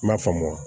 N m'a faamu